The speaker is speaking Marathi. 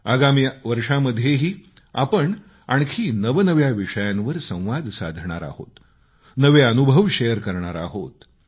आगामी वर्षामध्येही आपण आणखी नवनव्या विषयांवर संवाद साधणार आहोत नवे अनुभव शेअर करणार आहोत